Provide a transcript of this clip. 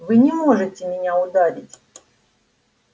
вы не можете меня ударить